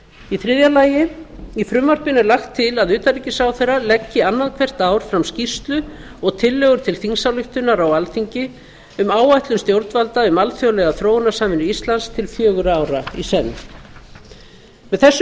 í þriðja lagi í frumvarpinu er lagt til að utanríkisráðherra leggi annað hvert ár fram skýrslu og tillögur til þingsályktunar á alþingi um áætlun stjórnvalda um alþjóðlega þróunarsamvinnu íslands til fjögurra ára í senn með þessu